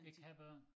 Det kan børn